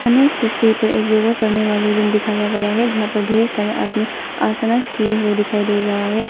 हमें इस तस्वीर पर एक योगा करने वाले रूम दिखाया गया है जहां पर ढेर सारा आदमी आसनास किए हुए दिखाई दे रहा है।